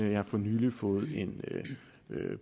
jeg har for nylig fået en